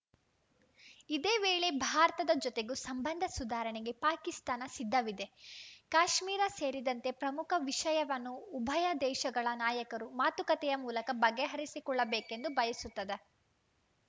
ಇದೇ ವೇಳೆ ಭಾರತದ ಜೊತೆಗೂ ಸಂಬಂಧ ಸುಧಾರಣೆಗೆ ಪಾಕಿಸ್ತಾನ ಸಿದ್ಧವಿದೆ ಕಾಶ್ಮೀರ ಸೇರಿದಂತೆ ಪ್ರಮುಖ ವಿಷಯವನ್ನು ಉಭಯ ದೇಶಗಳ ನಾಯಕರು ಮಾತುಕತೆಯ ಮೂಲಕ ಬಗೆಹರಿಸಿಕೊಳ್ಳಬೇಕೆಂದು ಬಯಸುತ್ತದೆ